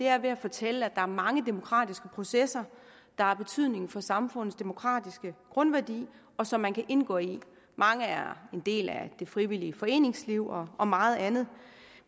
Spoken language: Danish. er ved at fortælle at der er mange demokratiske processer der har betydning for samfundets demokratiske grundværdi og som man kan indgå i mange er en del af det frivillige foreningsliv og og meget andet